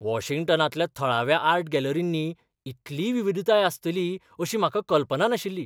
वॉशिंग्टनांतल्या थळाव्या आर्ट गॅलरींनी इतली विविधताय आसतली अशी म्हाका कल्पना नाशिल्ली.